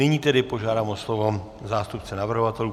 Nyní tedy požádám o slovo zástupce navrhovatelů.